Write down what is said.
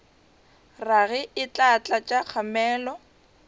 rage e tla tlatša kgamelo